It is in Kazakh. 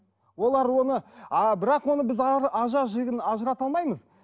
олар оны а бірақ оны біз жігін ажырата алмаймыз